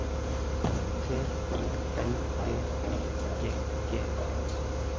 T I L B Y G G